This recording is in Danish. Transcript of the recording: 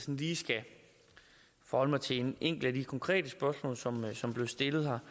lige skal forholde mig til et enkelt af de konkrete spørgsmål som som blev stillet her